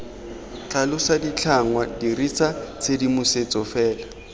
tlhalosa ditlhangwa dirisa tshedimosetso fela